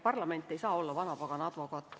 Parlament ei saa olla vanapagana advokaat.